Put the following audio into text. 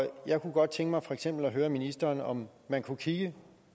og jeg kunne godt tænke mig at høre ministeren om man kunne kigge